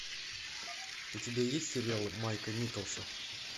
у тебя есть сериалы майка николса